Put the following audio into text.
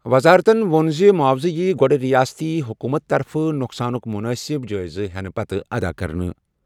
وزارتَن ووٚن زِ معاوضہٕ یِیہِ گۄڈٕ رِیاستی حکوٗمت نۄقصانُک مُنٲسِب جٲیزٕ پتہٕ ادا کٔرِتھ۔